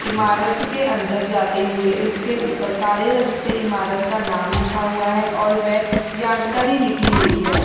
इमारत के अंदर जाते हुए उसके ऊपर काले रंग से इमारत का नाम लिखा हुआ है और वह जानकारी लिखी हुई है।